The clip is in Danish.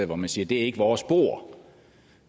hvor man siger det er ikke vores bord